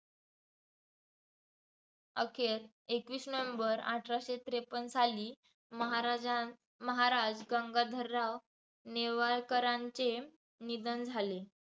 अखेर एकवीस नोव्हेंबर अठराशे त्रेपन्न साली महाराजा महाराज गंगाधरराव नेवाळकरांचे निधन झाले.